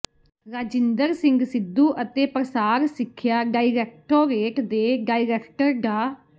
ਰਾਜਿੰਦਰ ਸਿੰਘ ਸਿੱਧੂ ਅਤੇ ਪਸਾਰ ਸਿੱਖਿਆ ਡਾਇਰੈਕਟੋਰੇਟ ਦੇ ਡਾਇਰੈਕਟਰ ਡਾ